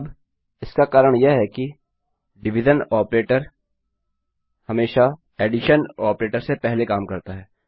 अब इसका कारण यह है कि डिविजन भाग ऑपरेटर हमेशा एडीशन ऑपरेटर से पहले काम करता है